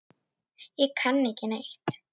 Ég kann ekki neitt.